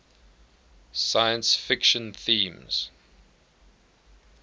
science fiction themes